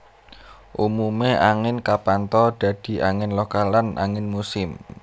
Umumé angin kapantha dadi angin lokal lan angin musim